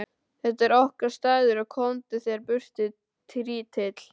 Þetta er okkar staður og komdu þér burtu, trítill!